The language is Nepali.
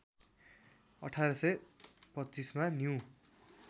१८२५ मा न्यू